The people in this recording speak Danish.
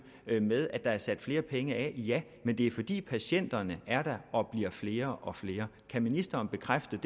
med at der er sat flere penge af ja men det er fordi patienterne er der og bliver flere og flere kan ministeren bekræfte